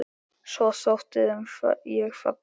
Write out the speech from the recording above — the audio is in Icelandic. Svo þótti þeim ég falleg.